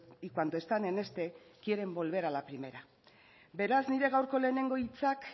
y cuando están en este quieren volver a la primera beraz nire gaurko lehenengo hitzak